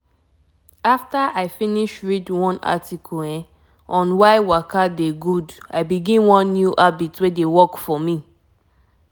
if u luk m wela copper coil um dey protect u for long e go help prevent belle for long time i mean am um.